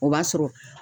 O b'a sɔrɔ